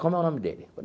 Como é o nome dele?